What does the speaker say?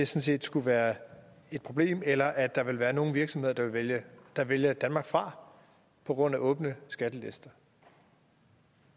set skulle være et problem eller at der ville være nogle virksomheder der vælger der vælger danmark fra på grund af åbne skattelister